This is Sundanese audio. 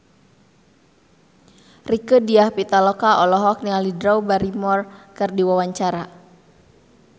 Rieke Diah Pitaloka olohok ningali Drew Barrymore keur diwawancara